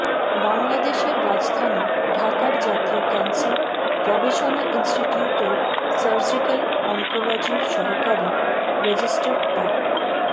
বাংলাদেশের রাজধানী ঢাকার জাতীয় ক্যান্সার গবেষণা ইন্সটিটিউটের সার্জিক্যাল অনকোলজির সহকারী রেজিস্টার ডা